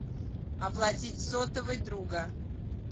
оплатить сотовый друга